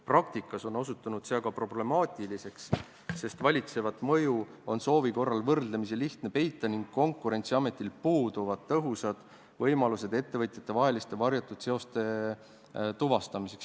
Praktikas on osutunud see aga problemaatiliseks, sest valitsevat mõju on soovi korral võrdlemisi lihtne peita ning Konkurentsiametil puuduvad tõhusad võimalused ettevõtjate vaheliste varjatud seoste tuvastamiseks.